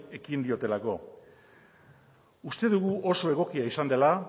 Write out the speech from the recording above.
ekin diotelako uste dugu oso egokia izan dela